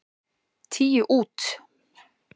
Tíu út.